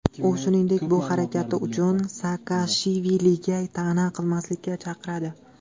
U, shuningdek, bu harakati uchun Saakashviliga ta’na qilmaslikka chaqiradi.